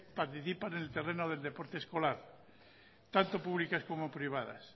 participan en el terreno del deporte escolar tanto públicas como privadas